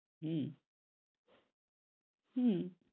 উম হম